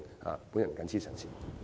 我謹此陳辭。